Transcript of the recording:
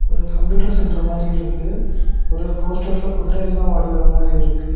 ஒரு computer centre மாரி இருக்கு ஒரு போஸ்டர்ல குதிரை எல்லாம் ஓடி வர மாரி இருக்கு.